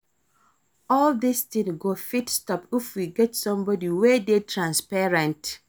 All dis things go fit stop if we get somebody wey dey transparent